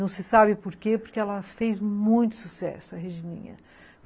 Não se sabe por quê, porque ela fez muito sucesso, a Regininha.